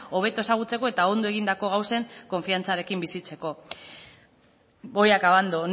hobeto ezagutzeko eta ondo egindako gauzen konfiantzarekin bizitzeko voy acabando